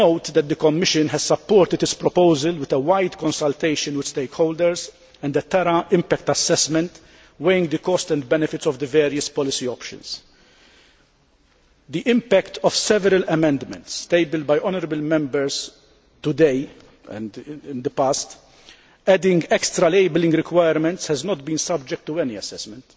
The Commission has supported this proposal with wide consultation of stakeholders and a terrain impact assessment weighing the cost and benefits of the various policy options. The impact of several amendments tabled by honourable Members today and in the past to add extra labelling requirements has not been subject to any assessment.